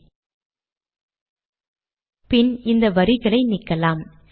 பின் இந்த வரிகளை நீக்கலாம்